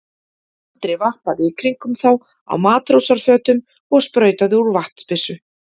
Andri vappaði í kringum þá á matrósafötum og sprautaði úr vatnsbyssu.